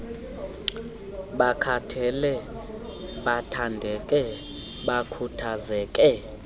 bakhathale bathandeke bakhuthaze